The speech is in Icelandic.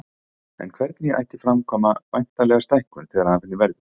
En hvernig ætti að framkvæma væntanlega stækkun þegar af henni verður.